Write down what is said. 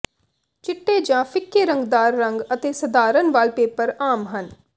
ਚਿੱਟੇ ਜਾਂ ਫ਼ਿੱਕੇ ਰੰਗਦਾਰ ਰੰਗ ਅਤੇ ਸਧਾਰਨ ਵਾਲਪੇਪਰ ਆਮ ਹਨ